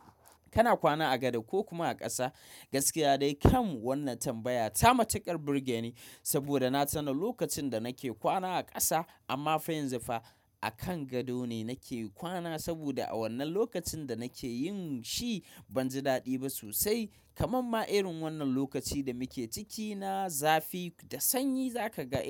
Kana kwana a gado ko kuma a ƙasa? Gaskiya dai kam wannan tambaya ta matuƙar burge ni saboda na tuna lokacin da nake kwana a ƙasa amma fa yanzu fa a kan gado ne nake kwana saboda a wannan lokacin da nake yin shi ban ji daɗi ba sosai. Kamamma irin wannan lokaci da muke ciki na zafi da sanyi za ka ga.